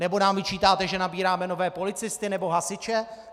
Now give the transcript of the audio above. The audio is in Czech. Nebo nám vyčítáte, že nabíráme nové policisty nebo hasiče.